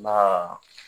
Nka